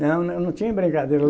Não, não tinha brincadeira.